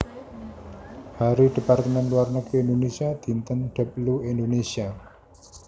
Hari Departemen Luar Negeri Indonésia Dinten Deplu Indonésia